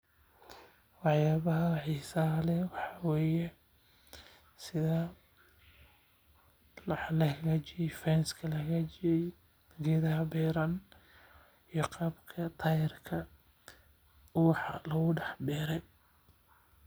Wax yaabaha xiisaha leh waxa waye sida wax lahaagajiye geedaha beeran iyo qaabka ubaxa loo beere.